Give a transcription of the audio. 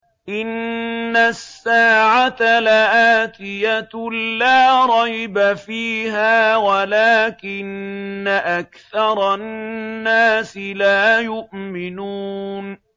إِنَّ السَّاعَةَ لَآتِيَةٌ لَّا رَيْبَ فِيهَا وَلَٰكِنَّ أَكْثَرَ النَّاسِ لَا يُؤْمِنُونَ